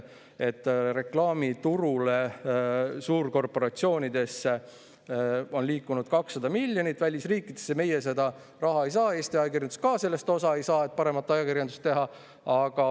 Reklaamiturule suurkorporatsioonidesse on liikunud 200 miljonit, välisriikidesse, meie seda raha ei saa, Eesti ajakirjandus ka sellest osa ei saa, et paremat ajakirjandust teha.